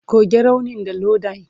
Goge raunin da Iodine!